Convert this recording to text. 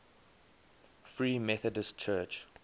free methodist church